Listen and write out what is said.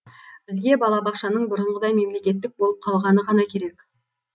бізге балабақшаның бұрынғыдай мемлекеттік болып қалғаны ғана керек